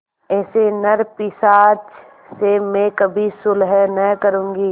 ऐसे नरपिशाच से मैं कभी सुलह न करुँगी